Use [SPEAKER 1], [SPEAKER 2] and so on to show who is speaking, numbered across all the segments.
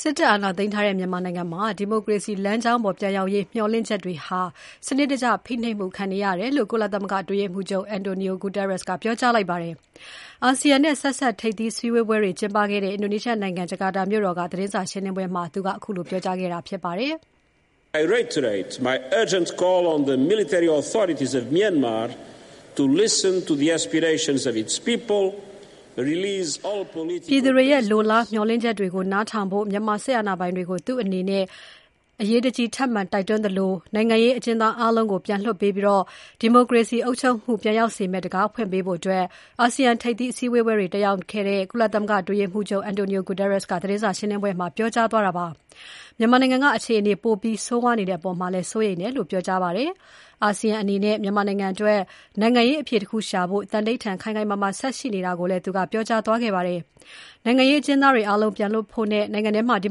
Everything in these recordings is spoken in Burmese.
[SPEAKER 1] စစ်တပ်အာဏာသိမ်းထားတဲ့ မြန်မာနိုင်ငံမှာ ဒီမိုကရေစီ လမ်းကြောင်းပေါ်ပြန်ရောက်ရေး မျှော်လင့်ချက်တွေဟာ စနစ်တကျဖိခံနေရတယ်လို့ ကုလသမဂ္ဂ အတွင်းရေးမှူးချုပ် Antonio Guterres က ပြောကြားလိုက်ပါတယ်။ အာဆီယံနဲ့ ဆက်စပ်ထိပ်သီး ဆွေးနွေးပွဲတွေကျင်းပနေတဲ့ အင်ဒိုနီးရှားနိုင်ငံ ဂျာကာတာမြို့တော်က သတင်းစာရှင်းပွဲမှာ ဒီနေ့ပြောကြားခဲ့တာဖြစ်ပါတယ်။
[SPEAKER 2] ပြည်သူ
[SPEAKER 1] တွေရဲ့ လိုလား မျှော်လင့်ချက်တွေကို နားထောင်ဖို့ မြန်မာစစ်အာဏာပိုင်တွေကို သူ့အနေနဲ့ ထပ်မံ တိုက်တွန်းသလို၊ နိုင်ငံရေး အကျဉ်သားအားလုံးကို ပြန်လွှတ်ပေးပြီး ဒီမိုကရေစီ အုပ်ချုပ်မှုကို ပြန်ရောက်စေမယ့် တံခါးဖွင့်ပေးဖို့ အာဆီယံထိပ်သီးအစည်းအဝေးတွေတက်ရောက်နေတဲ့ ကုလသမဂ္ဂအတွင်းရေးမှူးချုပ် Antonio Guterres က သတင်းစာရှင်းပွဲမှာ ပြောကြားသွားတာဖြစ်ပါတယ်။ မြန်မာနိုင်ငံက အခြေအနေ ပိုပြီးဆိုးဝါးနေတဲ့အပေါ်မှာလည်း စိုးရိမ်တယ်လို့ ပြောကြားသွားခဲ့ပါတယ်။ အာဆီယံအနေနဲ့ မြန်မာနိုင်ငံအတွက် နိုင်ငံရေးအဖြေတခုရှာဖို့ သံဓိဌာန်ခိုင်ခိုင်မာမာ ဆက်ရှိနေတာကိုလည်း သူကပြောကြားသွားပါတယ်။ နိုင်ငံရေးအကျဉ်းသား အာလုံးပြန်လွှတ်ဖို့နဲ့ နိုင်ငံထဲမှာ ဒီ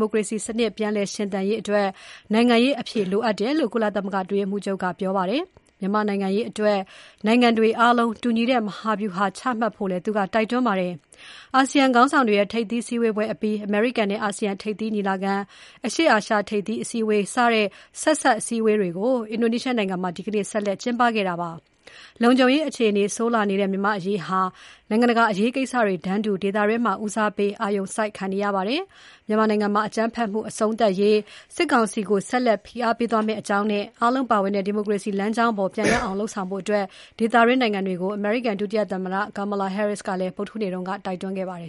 [SPEAKER 1] မိုကရေစီ စနစ်ပြန် ရှင်သန်နိုင်ရေးအတွက် နိုင်ငံရေးအဖြေလိုအပ်တယ်လို့ ကုလသမဂ္ဂအတွင်းရေးမှူးချုပ်က ပြောကြားသွားခဲ့ပါတယ်။ မြန်မာနိုင်ငံအရေး နိုင်ငံတွေအားလုံး တူညီတဲ့ မဟာဗျုဟာချမှတ်ဖို့လည်း သူက တိုက်တွန်းခဲ့ပါတယ်။ အာဆီယံခေါင်းဆောင်တွေရဲ့ ထိပ်သီးဆွေးနွေးပွဲအပြီး၊ အမေရိကန်နဲ့ အာဆီယံ ထိပ်သီးညီလာခံ၊ အရှေ့အာရှ ထိပ်သီးအစည်းအဝေးစတဲ့ ဆက်စပ်အစည်းအဝေးတွေ အင်ဒိုနီးရှားနိုင်ငံမှာ ဆက်လက်ကျင်းပနေတာပါ။ လုံခြုံရေးအခြေအနေ ဆိုးလာနေတဲ့ မြန်မာ့အရေးဟာ နိုင်ငံတကာအရေးကိစ္စတွေတန်းတူ ဒေသတွင်းမှာ ဦးစားပေးအာရုံစိုက်ခံနေရပါတယ်။ မြန်မာနိုင်ငံမှာ အကြမ်းဖက်မှု အဆုံးသတ်ရေး စစ်ကောင်စီကို ဆက်လက်ဖိအားပေးသွားမယ့်အကြောင်းနဲ့ အားလုံးပါဝင်တဲ့ ဒီမိုကရေစီ လမ်းကြောင်းပေါ် ပြန်ရောက်အောင်လုပ်ဆောင်ဖို့ ဒေသတွင်းနိုင်ငံတွေကို အမေရိကန် ဒုသမ္မတ Kamala Harris က ဗုဒ္ဓဟူးနေ့က တိုက်တွန်းခဲ့ပါတယ်